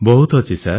ବହୁତ ଅଛି ସାର୍